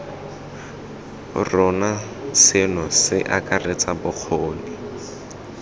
rona seno se akaretsa bokgoni